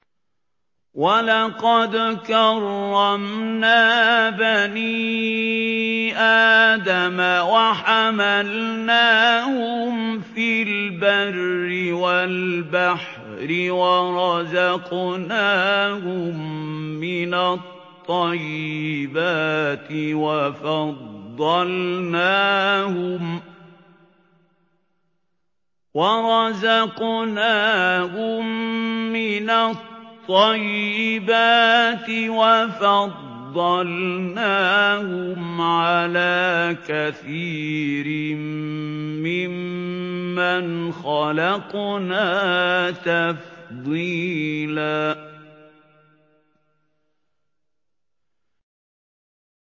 ۞ وَلَقَدْ كَرَّمْنَا بَنِي آدَمَ وَحَمَلْنَاهُمْ فِي الْبَرِّ وَالْبَحْرِ وَرَزَقْنَاهُم مِّنَ الطَّيِّبَاتِ وَفَضَّلْنَاهُمْ عَلَىٰ كَثِيرٍ مِّمَّنْ خَلَقْنَا تَفْضِيلًا